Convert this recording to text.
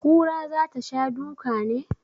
Kura za ta sha duka ne?